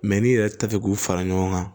n'i yɛrɛ t'a fɛ k'u fara ɲɔgɔn kan